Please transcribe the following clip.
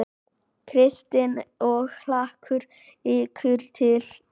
Kristín: Og hlakkar ykkur til?